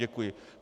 Děkuji.